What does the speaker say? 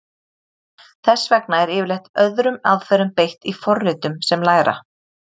Þess vegna er yfirleitt öðrum aðferðum beitt í forritum sem læra.